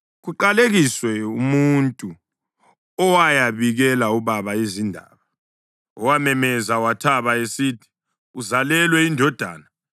Kaqalekiswe umuntu owayabikela ubaba izindaba, owamemeza wathaba, esithi, “Uzalelwe indodana!”